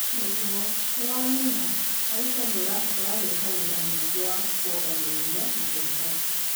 nĩguo, nĩwamenya, Aisha nĩurabatara gwĩka wĩra mũingĩwa kuonganĩrĩria na kũruta